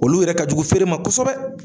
Olu yɛrɛ ka jugu feere ma kosɛbɛ.